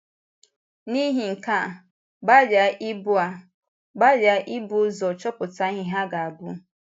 N’ihi nke a, gbalịa ibu a, gbalịa ibu ụzọ chọpụta ihe ha ga - abụ.